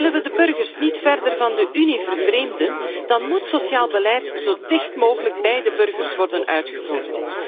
Willen we de burgers niet verder van de Unie vervreemden, dan moet sociaal beleid zo dicht mogelijk bij de burgers worden uitgevoerd.